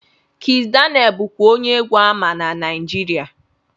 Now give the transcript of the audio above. Kizz Daniel bụkwa onye egwu ama na Naijiria